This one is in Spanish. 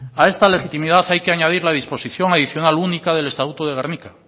a esta legitimidad hay que añadir la disposición adicional única del estatuto de gernika